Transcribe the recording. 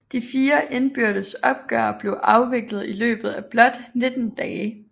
De 4 indbyrdes opgør blev afviklet i løbet af blot 19 dage